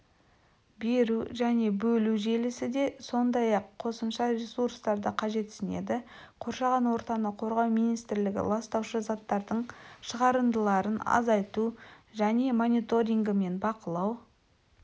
беру және бөлу желісі де сондай-ақ қосымша ресурстарды қажетсінеді қоршаған ортаны қорғау министрлігі ластаушы заттардың шығарындыларын азайту және мониторингі мен бақылау